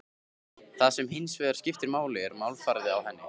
Það sem hins vegar skiptir máli er málfarið á henni.